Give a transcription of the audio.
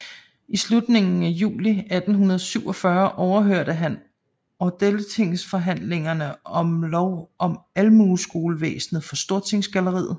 I slutningen af juli 1847 overhørte han odelstingsforhandlingerne om lov om almueskolevæsenet fra Stortingsgalleriet